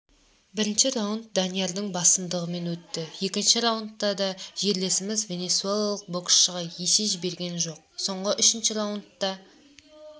бірінші раундданиярдың басымдығымен өтті екінші раундта да жерлесіміз венесуэлалық боксшыға есе жіберген жоқ соңғы үшінші раундта